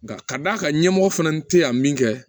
Nka k'a d'a ka ɲɛmɔgɔ fana te yan min kɛ